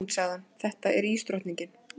Þetta er hún, sagði hann, þetta er ísdrottningin.